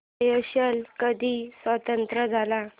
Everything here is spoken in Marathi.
स्येशेल्स कधी स्वतंत्र झाला